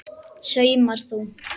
Saumar þú?